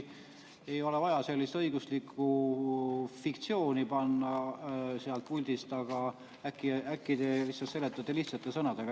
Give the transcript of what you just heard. Ei ole vaja sellist õiguslikku fiktsiooni panna sealt puldist, aga äkki te seletate lihtsate sõnadega.